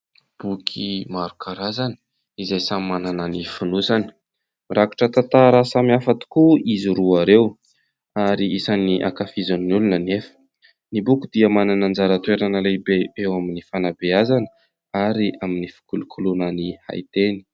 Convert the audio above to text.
Boky maro karazany izay samy manana ny fonosany, mirakitra tantara samihafa tokoa izy roa ireo ary isan'ny ankafizin'ny olona anefa. Ny boky dia manana anjara toerana lehibe eo amin'ny fanabeazana ary amin'ny fikolokoloana ny haiteny.